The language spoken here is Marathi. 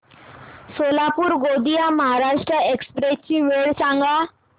सोलापूर गोंदिया महाराष्ट्र एक्स्प्रेस ची वेळ सांगा